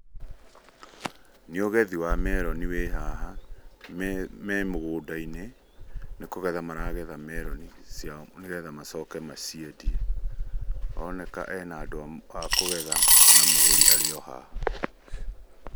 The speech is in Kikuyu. Nĩ ũgethi wa meroni wĩ haha, me mũgũnda-inĩ nĩ kũgetha maragetha meroni ciao nĩ getha macoke maciendie. Aroneka ena andũ a kũgetha na mũgũri arĩ o haha.